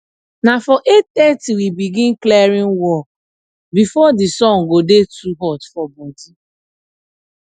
na for eight thirty we go begin clearing work before the sun go dey too hot for body